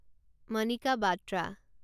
Manika Batra